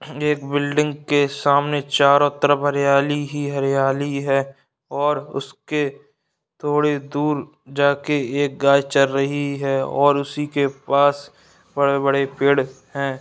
एक बिल्डिंग के सामने चारों तरफ हरियाली ही हरियाली है और उसके थोड़ी दूर जाके एक गाय चर रही है और उसी के पास बड़े बड़े पेड़ है।